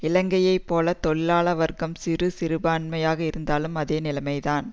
இலங்கையை போல தொழிலாள வர்க்கம் சிறிய சிறுபான்மையாக இருந்தாலும் அதே நிலைமை தான்